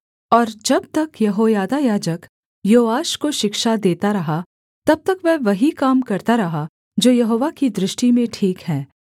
और जब तक यहोयादा याजक योआश को शिक्षा देता रहा तब तक वह वही काम करता रहा जो यहोवा की दृष्टि में ठीक है